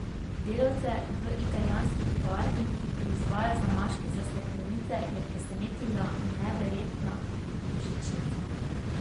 Delavce v italijanski tovarni, ki proizvaja zamaške za steklenice, je presenetila neverjetna božičnica.